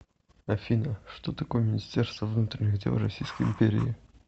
афина что такое министерство внутренних дел российской империи